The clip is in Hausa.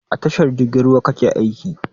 A tashar jirgin ruwa kake aiki?